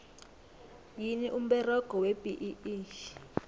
yini umberego webee